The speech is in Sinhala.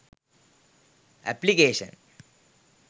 application